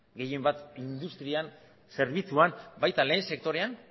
gehien bat industrian eta zerbitzuan baita lehen sektorean